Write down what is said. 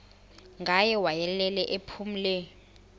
ngaye wayelele ephumle